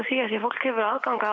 því fólk hefur aðgang að